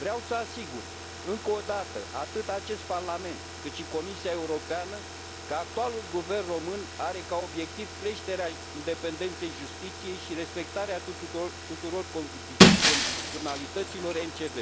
Vreau să asigur, încă o dată, atât acest Parlament, cât și Comisia Europeană, că actualul guvern român are ca obiectiv creșterea independenței justiției și respectarea tuturor condiționalităților MCV.